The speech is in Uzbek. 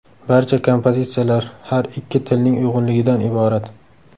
Barcha kompozitsiyalar har ikki tilning uyg‘unligidan iborat.